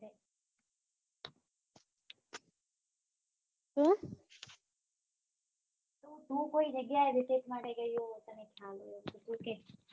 તો કોઈ જગ્યાએ recess માટે ગયી હોય તને ખ્યાલ હોય